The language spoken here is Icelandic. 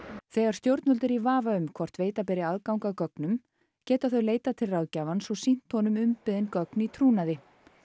þegar stjórnvöld eru í vafa um hvort veita beri aðgang að gögnum geta þau leitað til ráðgjafans og sýnt honum umbeðin gögn í trúnaði